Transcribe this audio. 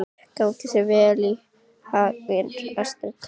Gangi þér allt í haginn, Astrid.